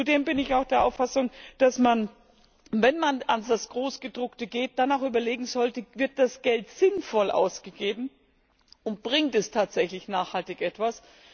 Zudem bin ich auch der Auffassung, dass man, wenn man an das Großgedruckte geht, dann auch überlegen sollte, wird das Geld sinnvoll ausgegeben und bringt es tatsächlich nachhaltig etwas?